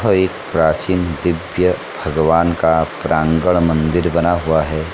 यह भव्य प्राचीन दिव्य भगवान का प्रांगण मंदिर बना हुआ है |